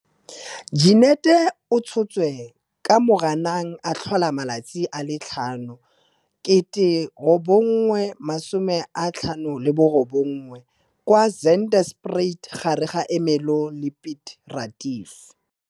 Jeneth o tshotswe ka 5 Moranang 1959 kwa Zandspruit gare ga Ermelo le Piet Retief.